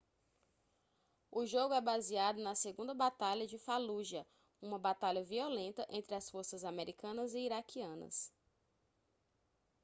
o jogo é baseado na segunda batalha de fallujah uma batalha violenta entre as forças americanas e iraquianas